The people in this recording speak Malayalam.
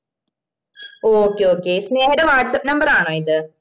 okay okay സ്നേഹയുടെ whatsappnumber ആണോ ഇത്